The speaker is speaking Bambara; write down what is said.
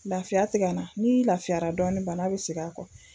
Lafiya te ka na n'i lafiya dɔɔnin bana be segin a kɔ